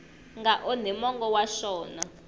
nga onhi mongo wa xona